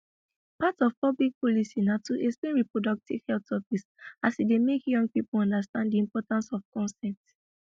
part of public policy na to explain reproductive health topics as e dey make young people understand di importance of consent